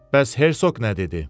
Bəs Hersoq nə dedi?